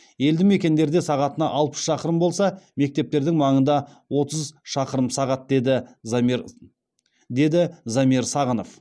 елді мекендерде сағатына алпыс шақырым болса мектептердің маңында отыз шақырым сағат деді замир сағынов